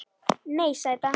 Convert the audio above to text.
Nei, sæta.